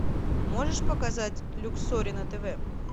можешь показать люксори на тв